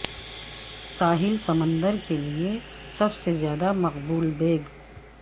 ساحل سمندر کے لئے سب سے زیادہ مقبول بیگ